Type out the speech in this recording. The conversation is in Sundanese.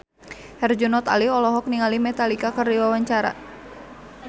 Herjunot Ali olohok ningali Metallica keur diwawancara